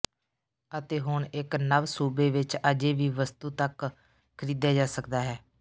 ਅਤੇ ਹੁਣ ਇੱਕ ਨਵ ਸੂਬੇ ਵਿਚ ਅਜੇ ਵੀ ਵਸਤੂ ਤੱਕ ਖਰੀਦਿਆ ਜਾ ਸਕਦਾ ਹੈ